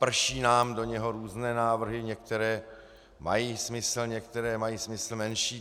Prší nám do něho různé návrhy, některé mají smysl, některé mají smysl menší.